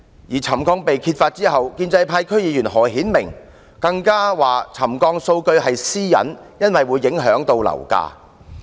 在沉降問題被揭發後，建制派區議員何顯明更稱沉降數據屬私隱，因為會影響樓價。